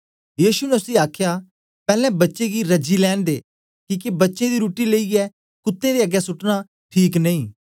यीशु ने उसी आखया पैलैं बच्चें गी रजी लैंन दे किके बच्चें दी रुट्टी लेईयै कुत्तें दे अगें सुटना ठीक नेई